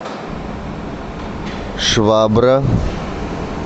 швабра